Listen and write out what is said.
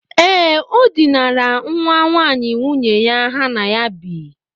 Ee, o dinara nwa nwaanyị nwunye ya ha na ya bi.